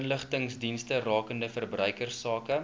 inligtingsdienste rakende verbruikersake